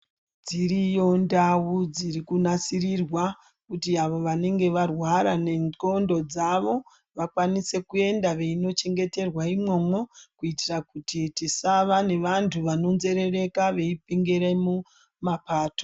Dziriyo ndau dziri kunasirirwa kuti avo vanenge varwara nencondo dzavo vakwanise kuenda veindochengeterwa imwomwo kuitira kuti tisave nevantu vanonzerereka veipengera mumapato.